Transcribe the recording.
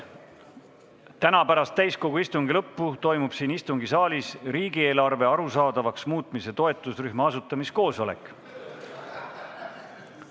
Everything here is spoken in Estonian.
Täna pärast täiskogu istungi lõppu toimub siin istungisaalis riigieelarve arusaadavaks muutmise toetusrühma asutamise koosolek.